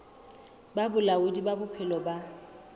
ba bolaodi ba bophelo bo